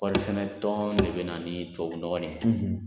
Kɔɔrisɛnɛtɔn de bɛ na ni tubabu nɔgɔ nin ye,